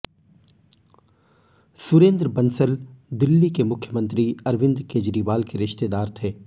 सुरेंद्र बंसल दिल्ली के मुख्यमंत्री अरविंद केजरीवाल के रिश्तेदार थे